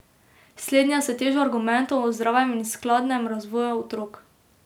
Slednja s težo argumentov o zdravem in skladnem razvoju otrok.